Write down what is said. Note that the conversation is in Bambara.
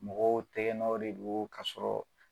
Mɔgɔw tɛgɛnɔw de do kasɔrɔ